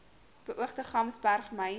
beoogde gamsberg myn